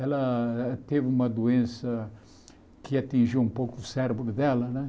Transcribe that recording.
Ela teve uma doença que atingiu um pouco o cérebro dela, né?